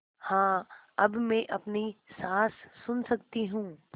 हाँ अब मैं अपनी साँस सुन सकती हूँ